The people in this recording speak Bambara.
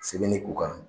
Sɛbɛnni ko kan